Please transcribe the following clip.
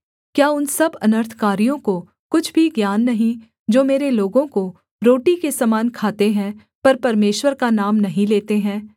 क्या उन सब अनर्थकारियों को कुछ भी ज्ञान नहीं जो मेरे लोगों को रोटी के समान खाते है पर परमेश्वर का नाम नहीं लेते है